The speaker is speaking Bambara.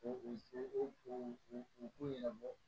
U u u ɲɛnabɔ